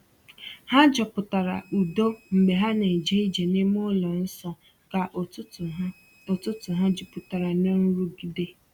Ha chọpụtara udo mgbe ha na-eje ije n’ime ụlọ nsọ ka ụtụtụ ha ụtụtụ ha juputara n’ nrụgide.